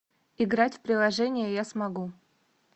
играть в приложение я смогу